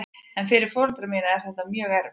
En fyrir foreldra mína er þetta mjög erfitt.